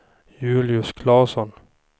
Julius Claesson